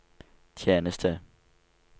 tjeneste